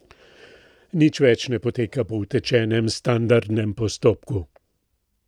Nič več ne poteka po utečenem, standardnem postopku.